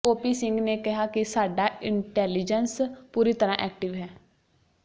OP Singh ਨੇ ਕਿਹਾ ਕਿ ਸਾਡਾ ਇੰਟੈਲੀਜੈਂਸ ਪੂਰੀ ਤਰ੍ਹਾਂ ਐਕਟਿਵ ਹੈ